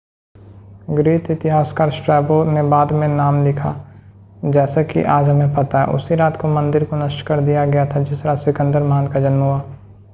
Greek इतिहासकार Strabo ने बाद में नाम लिखा जैसे की आज हमें पता है उसी रात को मंदिर को नष्ट कर दिया गया था जिस रात सिकंदर महान का जन्म हुआ